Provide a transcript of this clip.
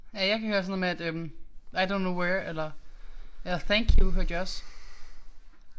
Ja jeg kan høre sådan noget med at øh I don't know where eller eller thank you hørte jeg også